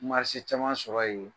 caman sɔrɔ yen.